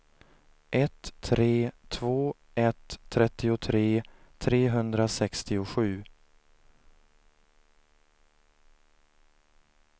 ett tre två ett trettiotre trehundrasextiosju